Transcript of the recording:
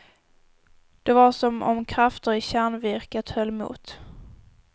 Det var som om krafter i kärnvirket höll mot.